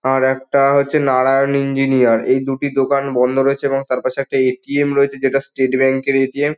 আর একটা হচ্ছে নারায়ণ ইঞ্জিনিয়ার । এই দুটি দোকান বন্ধ রয়েছে এবং তার পাশে একটা এ.টি.এম. রয়েছে যেটা স্টেট ব্যাঙ্ক -এর এ.টি.এম. ।